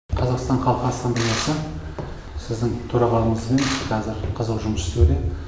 қазақстан халқы ассамблеясы сіздің төрағалығыңызбен қазір қызу жұмыс істеуде